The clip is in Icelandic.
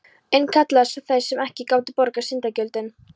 Enn kallaðar svo, þær sem ekki gátu borgað syndagjöldin.